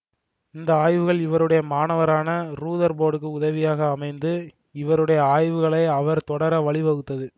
இந்த ஆய்வுகள் இவருடைய மாணவரான ரூதர்போர்டுக்கு உதவியாக அமைந்து இவருடைய ஆய்வுகளை அவர் தொடர வழி வகுத்தது